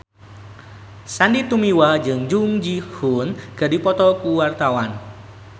Sandy Tumiwa jeung Jung Ji Hoon keur dipoto ku wartawan